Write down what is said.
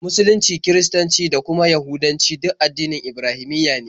Musulunci, Kiristanci, da kuma Yahudancu duk addinan Ibrahimiyya ne.